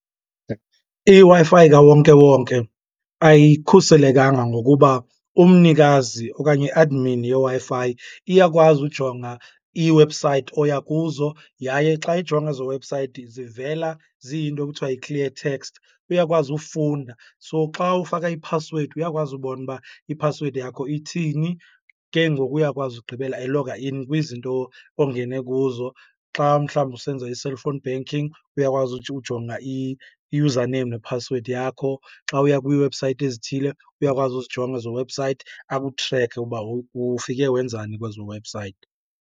IWi-Fi kawonkewonke ayikhuselekanga ngokuba umnikazi okanye i-admin yeWi-Fi iyakwazi ujonga iiwebhusayithi oya kuzo. Yaye xa ijonga ezo webhusayithi zivela ziyinto ekuthiwa yi-clear text. Uyakwazi ufunda, so xa ufaka iphasiwedi uyakwazi ubona uba iphasiwedi yakho ithini, ke ngoku uyakwazi ugqibela eloga in kwizinto ongene kuzo. Xa umhlawumbi usenza i-cellphone banking uyakwazi ujonga i-username nephasiwedi yakho. Xa uya kwiiwebhusayithi ezithile uyakwazi uzijonga ezo webhusayithi akutrekhe uba ufike wenzani kwezo webhusayithi.